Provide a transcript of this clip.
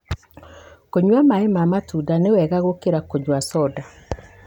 Kũnyua maĩ ma matunda nĩ wega gũkĩra kũnyua soda.